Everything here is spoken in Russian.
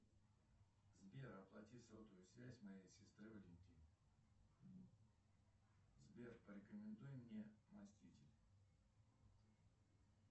сбер оплати сотовую связь моей сестре валентины сбер порекомендуй мне мастити